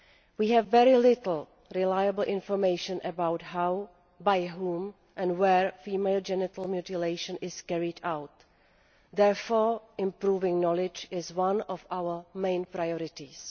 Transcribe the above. We have very little reliable information about how, by whom and where female genital mutilation is carried out. Therefore, improving knowledge is one of our main priorities.